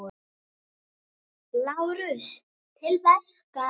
LÁRUS: Til verka!